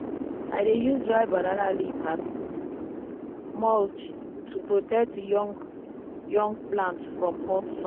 i dey use dry banana leaf as mulch to protect young young plant from hot sun.